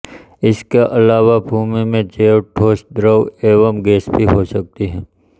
इसके अलावा भूमि में जैव ठोस द्रव एवं गैसें भी हो सकतीं हैं